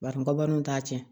Bari kɔbaru t'a tiɲɛ